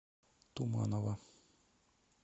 туманова